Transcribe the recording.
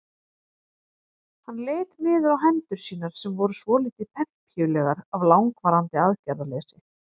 Hann leit niður á hendur sínar sem voru svolítið pempíulegar af langvarandi aðgerðarleysi.